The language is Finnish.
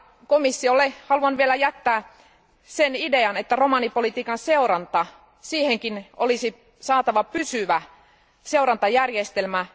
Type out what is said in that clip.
Komissiolle haluan vielä jättää sen idean, että romanipolitiikan seuranta, siihenkin olisi saatava pysyvä seurantajärjestelmä.